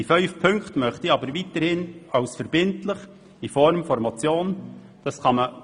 Die fünf Punkte möchte ich jedoch weiterhin als verbindlich in der Form einer Motion überweisen lassen.